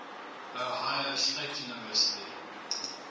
ohio state university